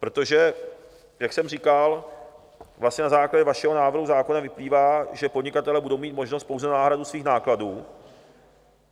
Protože jak jsem říkal, vlastně na základě vašeho návrhu zákona vyplývá, že podnikatelé budou mít možnost pouze na náhradu svých nákladů.